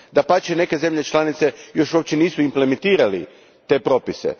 Dapače, neke zemlje članice još uopće nisu implementirale te propise.